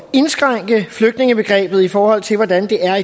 indskrænke flygtningebegrebet i forhold til hvordan det er